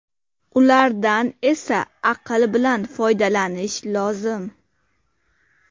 Ulardan esa aql bilan foydalanish lozim.